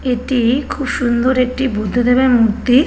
এটি খুব সুন্দর একটি বুদ্ধদেবের মূর্তি।